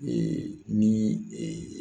Ee ni